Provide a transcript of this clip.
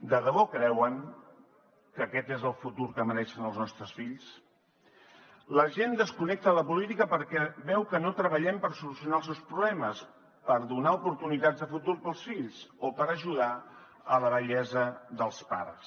de debò creuen que aquest és el futur que mereixen els nostres fills la gent desconnecta de la política perquè veu que no treballem per solucionar els seus problemes per donar oportunitats de futur per als fills o per ajudar en la vellesa dels pares